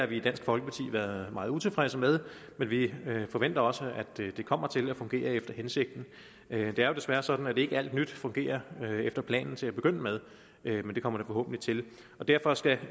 vi i dansk folkeparti været meget utilfredse med men vi forventer også at det kommer til at fungere efter hensigten det er jo desværre sådan at ikke alt nyt fungerer efter planen til at begynde med men det kommer det forhåbentlig til derfor skal